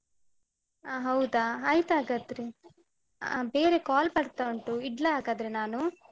ಅ ಹೌದಾ. ಆಯ್ತಾಗಾದ್ರೆ ಅಹ್ ಬೇರೆ call ಬರ್ತಾ ಉಂಟು. ಇಡ್ಲಾ ಹಾಗಾದ್ರೆ ನಾನು?